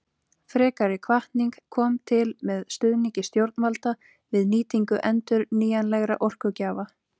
Frekari hvatning kom til með stuðningi stjórnvalda við nýtingu endurnýjanlegra orkugjafa.